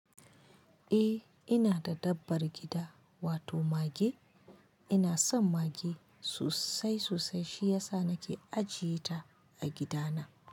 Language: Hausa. Eh ina da dabbar gida wato mage. Ina son mage sosai sosai shiyasa nake ajiyeta a gida na.